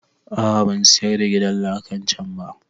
A'a ban sayar da gidan lakan can ba